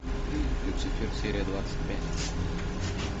люцифер серия двадцать пять